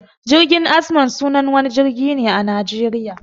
Jirgin azman sunan wani jirgin ne a Najeriya.